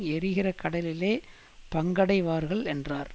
எரிகிற கடலிலே பங்கடைவார்கள் என்றார்